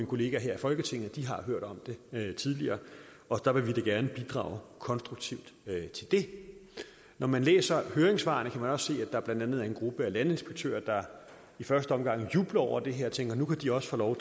kollegaer her i folketinget at de har hørt om det tidligere og der vil vi da gerne bidrage konstruktivt når man læser høringssvarene også se at der blandt andet er en gruppe af landinspektører der i første omgang jubler over det her og tænker at nu kan de også få lov